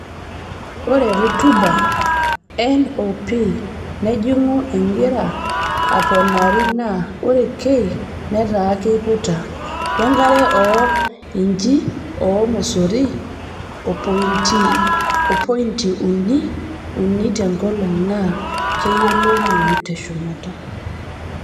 Ore rutuba (N oo P nejingu engira aponari naa oree K netaa keiputa) wenkaree oo inchii oormosori opointi uni uni tenkolong naa keyiounoi teshumata.